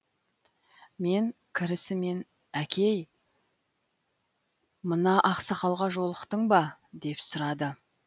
мен кірісімен әкей мына ақсақалға жолықтың ба деп сұрады